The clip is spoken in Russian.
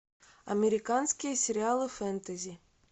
американские сериалы фэнтези